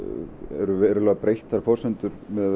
eru verulega breyttar forsendur